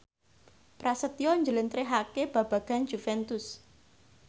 Prasetyo njlentrehake babagan Juventus